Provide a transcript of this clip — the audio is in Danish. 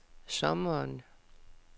sommeren